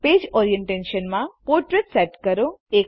page ઓરીએન્ટેશનમાં portrait set કરો